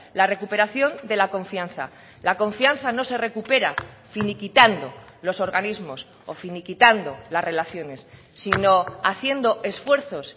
la recuperación de la confianza la confianza no se recupera finiquitando los organismos o finiquitando las relaciones sino haciendo esfuerzos